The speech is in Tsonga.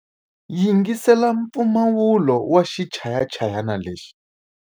Yingisela mpfumawulo wa xichayachayani lexi.